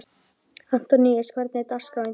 Antoníus, hvernig er dagskráin í dag?